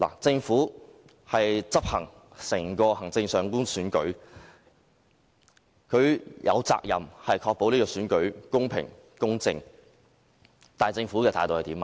政府負責執行整個行政長官選舉，有責任確保選舉公平、公正，但政府的態度是怎樣？